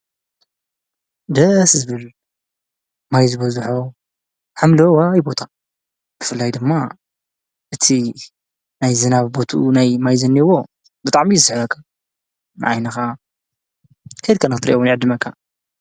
ደስ ዝብሉሎ ማይ ዝበዝሖ ሓምሎ ዋ ይቦታ ብፍላይ ድማ እቲ ናይ ዝናብ በቱኡ ናይ ማይ ዝናብዎን ብጣዕ እዮ ዝስሕበካ ንዓይንኻ ከድካ ነኽትሪኦ እውን ይዕድመካ።